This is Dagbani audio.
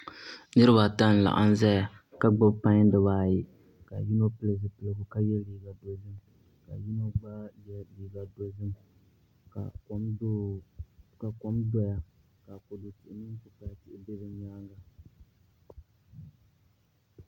Niraba ata n laɣam ʒɛya ka gbubi pai dibaayi ka yino pili zipiligu ka yɛ liiga dozim ka yino gba yɛ liiga dozim ka kom doya kodu tihi mini kpukpali tihi bɛ bi nyaanga